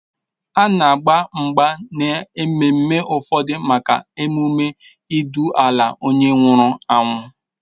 A na-agba mgba n'ememme ụfọdụ maka emume ịdụla onye nwụrụ anwụ.